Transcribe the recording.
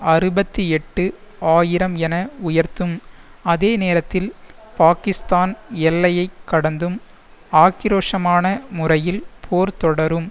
அறுபத்தி எட்டு ஆயிரம் என உயர்த்தும் அதே நேரத்தில் பாக்கிஸ்தான் எல்லையை கடந்தும் ஆக்கிரோஷமான முறையில் போர் தொடரும்